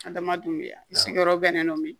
Adamadenw bɛ yan i sigiyɔrɔ bɛnnen don min